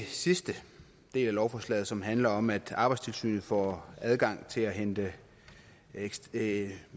sidste del af lovforslaget som handler om at arbejdstilsynet får adgang til at hente